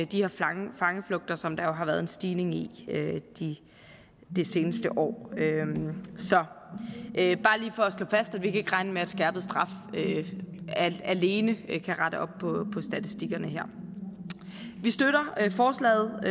de her fangeflugter som der jo har været en stigning i de seneste år så det er bare lige for at slå fast at vi ikke kan regne med at skærpet straf alene kan rette op på statistikkerne her vi støtter forslaget